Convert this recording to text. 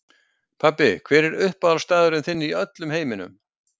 Pabbi Hver er uppáhaldsstaðurinn þinn í öllum heiminum?